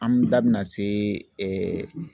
An bɛ da bina se